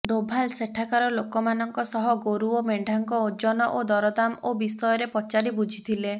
ଡୋଭାଲ ସେଠାକାର ଲୋକମାନଙ୍କ ସହ ଗୋରୁ ଓ ମେଣ୍ଢାଙ୍କ ଓଜନ ଓ ଦରଦାମ ଓ ବିଷୟରେ ପଚାରି ବୁଝିଥିଲେ